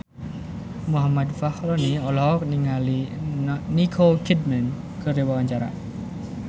Muhammad Fachroni olohok ningali Nicole Kidman keur diwawancara